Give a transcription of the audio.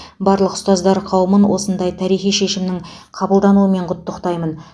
барлық ұстаздар қауымын осындай тарихи шешімнің қабылдануымен құттықтаймын